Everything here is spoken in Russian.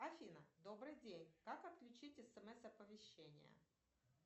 афина добрый день как отключить смс оповещение